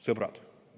Sõbrad!